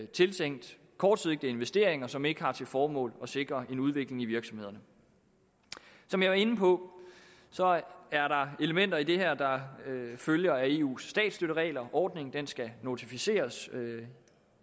tiltænkt kortsigtede investeringer som ikke har til formål at sikre en udvikling i virksomhederne som jeg var inde på er der elementer i det her der følger af eus statsstøtteregler ordningen skal notificeres